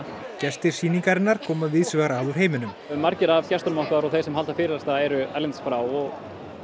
gestir sýningarinnar koma víðs vegar að úr heiminum margir af gestunum okkar og þeir sem halda fyrirlestra eru erlendis frá